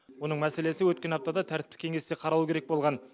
оның мәселесі өткен аптада тәртіптік кеңесте қаралу керек болған